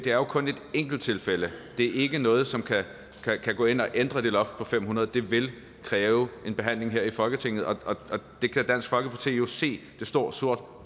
jo kun et enkelt tilfælde det er ikke noget som kan gå ind og ændre det loft på fem hundrede det vil kræve en behandling her i folketinget og det kan dansk folkeparti jo se det står sort